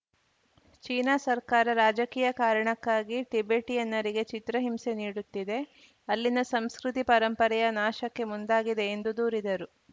China ಸರ್ಕಾರ ರಾಜಕೀಯ ಕಾರಣಕ್ಕಾಗಿ ಟಿಬೆಟಿಯನ್ನರಿಗೆ ಚಿತ್ರಹಿಂಸೆ ನೀಡುತ್ತಿದೆ ಅಲ್ಲಿನ ಸಂಸ್ಕೃತಿ ಪರಂಪರೆಯ ನಾಶಕ್ಕೆ ಮುಂದಾಗಿದೆ ಎಂದು ದೂರಿದರು